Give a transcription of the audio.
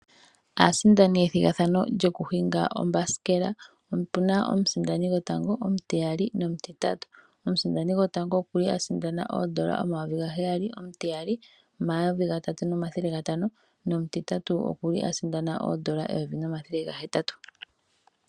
Aasindani yethigathano lyoku hinga oombasikela opuna omusindani gotango ,nomutiyali nomutitatu. Omusindani gotango okuli a sindana oondola omayovi ga heyali, omutiyali omayovi gatatu nomathele gatano nomutitatu okuli a sindana oondola eyovi nomathele gahetatu.